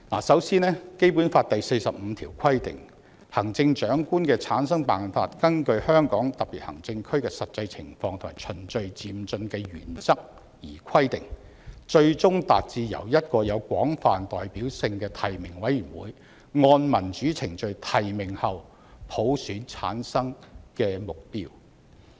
首先，《基本法》第四十五條規定"行政長官的產生辦法根據香港特別行政區的實際情況和循序漸進的原則而規定，最終達至由一個有廣泛代表性的提名委員會按民主程序提名後普選產生的目標"。